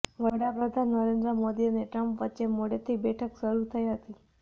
વડાપ્રધાન નરેન્દ્ર મોદી અને ટ્રમ્પ વચ્ચે મોડેથી બેઠક શરૂ થઇ હતી